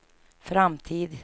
framtid